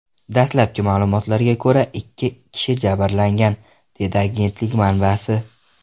Dastlabki ma’lumotlarga ko‘ra, ikki kishi jabrlangan”, dedi agentlik manbasi.